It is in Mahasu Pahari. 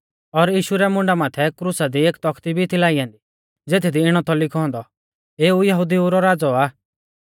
और यीशु रै मुंडा माथै क्रुसा दी एक तौखती भी थी लाई ऐन्दी ज़ेथदी इणौ थौ लिखौ औन्दौ एऊ यहुदिऊ रौ राज़ौ आ